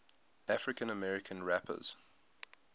african american rappers